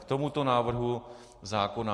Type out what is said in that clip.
K tomuto návrhu zákona.